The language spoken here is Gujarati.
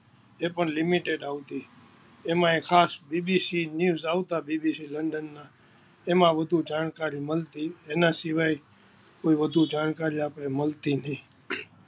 જે પણ લિમિટેડ આવતા હોય જેમાં ખાસ બીબીસી ન્યુસ બીબીસી લંડન ના આના સિવાય કોઈ વધુ જાણકારી મળતી નહીં.